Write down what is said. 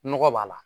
Nɔgɔ b'a la